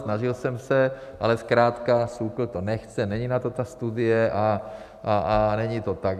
Snažil jsem se, ale zkrátka SÚKL to nechce, není na to ta studie a není to tak.